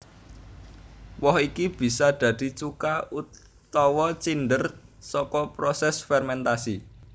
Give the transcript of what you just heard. Woh iki bisa dadi cuka utawa cinder saka prosés fermentasi